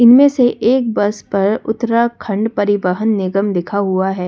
इनमें से एक बस पर उत्तराखंड परिवहन निगम लिखा हुआ है।